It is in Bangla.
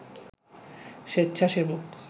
স্বেচ্ছাসেবক